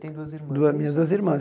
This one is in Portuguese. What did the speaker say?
Tem duas irmãs. Duas minhas duas irmãs